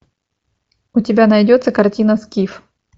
у тебя найдется картина скиф